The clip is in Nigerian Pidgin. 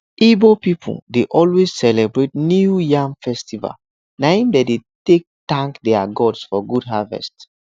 ibo pipu dey always celebrate new yam festival na im dem dey take tank their gods for good harvest